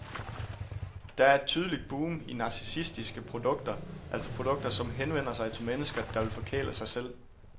Der er et tydeligt boom i narcissistiske produkter, altså produkter, som henvender sig til mennesker, der vil forkæle sig selv.